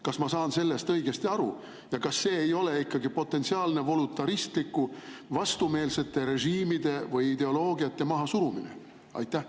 Kas ma saan sellest õigesti aru ja kas see ei ole ikkagi potentsiaalne voluntaristlik vastumeelsete režiimide või ideoloogiate mahasurumine?